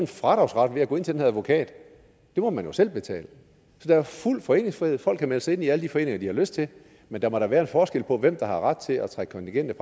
fradragsret ved at gå ind til den her advokat det må man jo selv betale så der er fuld foreningsfrihed folk kan melde sig ind i alle de foreninger de har lyst til men der må da være en forskel på hvem der har ret til at trække kontinentet